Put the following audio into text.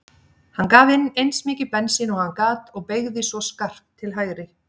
Hann gaf inn eins mikið bensín og hann gat og beygði svo skarpt til hægri.